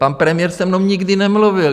Pan premiér se mnou nikdy nemluvil.